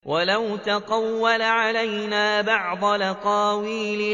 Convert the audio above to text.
وَلَوْ تَقَوَّلَ عَلَيْنَا بَعْضَ الْأَقَاوِيلِ